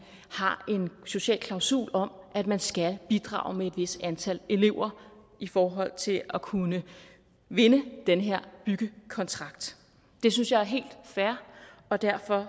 har en social klausul om at man skal bidrage med et vist antal elever i forhold til at kunne vinde den her byggekontrakt det synes jeg er helt fair og derfor